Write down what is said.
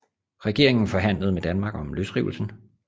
Regeringen forhandlede med Danmark om løsrivelsen